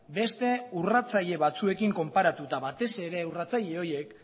beste urratzaile batzuekin konparatuta batez ere urratzaile horiek